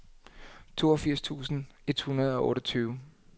toogfirs tusind et hundrede og otteogtyve